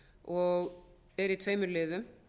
og er í tveimur liðum